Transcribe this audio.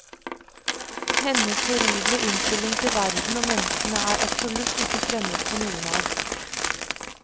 Hennes horrible innstilling til verden og menneskene er absolutt ikke fremmed for noen av oss.